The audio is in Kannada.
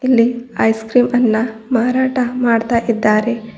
ಇಲ್ಲಿ ಐಸ್ ಕ್ರೀಂ ಅನ್ನ ಮಾರಾಟ ಮಾಡ್ತಾ ಇದ್ದಾರೆ.